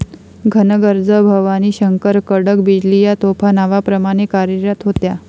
घनगर्ज भवानीशंकर, कडक बिजली या तोफा नावाप्रमाणे कार्यरत होत्या.